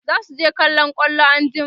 zasu je kallon kwallo anjima